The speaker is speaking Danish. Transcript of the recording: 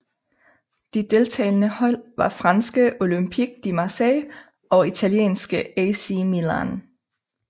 De deltagende hold var franske Olympique de Marseille og italienske AC Milan